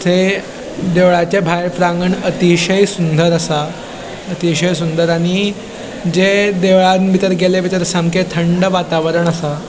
थंय देवळाचे भायर प्रांगण अतिषय सुंदर आसा अतिषय सुंदर आणि जे देवळात बितर गेल्या बितर सामके थंड वातावरण आसा.